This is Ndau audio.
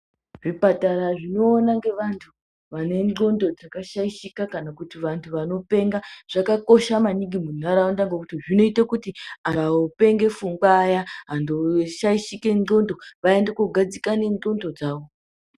Zvipatara zvinoona ngeauntu ane ndxondo dzakashaishika kana kuti vantu vanopenga, zvakakosha maningi mundaraunda ngokuti zvinoita kuti vantu vanopenga pfungwa, vaya vantu voshaishika ndxondo vaende kundogadzikane ndxondo dzavo.